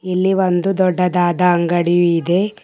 ಇಲ್ಲಿ ಒಂದು ದೊಡ್ಡದಾದ ಅಂಗಡಿಯು ಇದೆ.